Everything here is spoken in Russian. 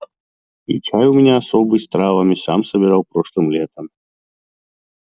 и чай у меня особый с травами сам собирал прошлым летом